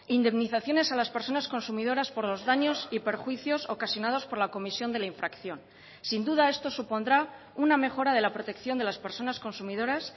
indemnizaciones a las personas consumidoras por los daños y perjuicios ocasionados por la comisión de la infracción sin duda esto supondrá una mejora de la protección de las personas consumidoras